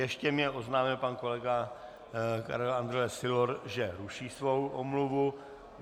Ještě mi oznámil pan kolega Karel Andrle Sylor, že ruší svou omluvu.